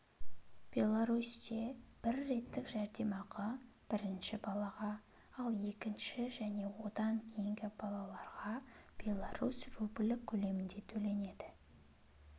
белорусте бір реттік жәрдемақы бірінші балаға ал екінші және одан кейінгі балаларға беларусь рублі көлемінде төленеді